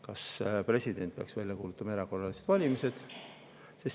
Kas president peaks välja kuulutama erakorralised valimised?